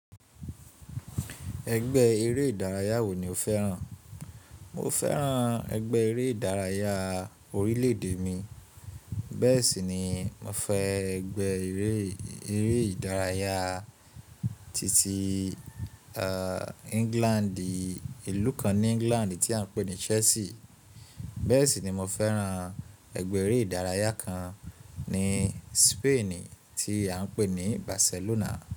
Ẹgbẹ́ eré ìdárayá wo ni o fẹ́ràn? Mo fẹ́ran ẹgbẹ́ eré ìdárayá orílè-èdè mi. Bẹ́ẹ̀ sì ni mo fẹ́ ẹgbẹ́ eré ìdárayá titi England ilu kan ni England ti a n pe ni Chelsea. Bẹ́ẹ̀ sì ni mo fẹ́ran ẹgbẹ́ eré ìdárayá kan ní Spain tí a ń pè ní Barcelona.